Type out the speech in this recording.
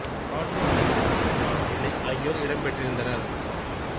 Patro T N Sivagnanam Pillai ஆகியோர் இடம் பெற்றிருந்தனர்